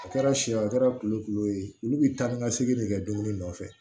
A kɛra sɛw a kɛra kulokulo ye olu bi taa ni ka segin de kɛ dumuni nɔfɛ